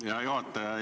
Hea juhataja!